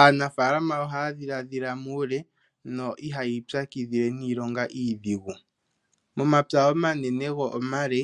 Aanafalama ohaya dhiladhila muule, no iha yii pyakidhile niilonga iidhigu. Momapya omanene, go omale,